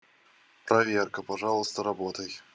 проверка пожалуйста работай